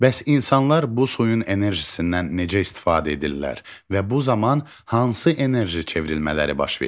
Bəs insanlar bu suyun enerjisindən necə istifadə edirlər və bu zaman hansı enerji çevrilmələri baş verir?